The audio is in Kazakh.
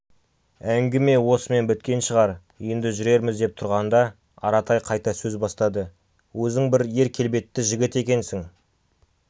әңгіме осымен біткен шығар енді жүрерміз деп тұрғанда аратай қайта сөз бастады өзің бір ер келбетті жігіт екенсің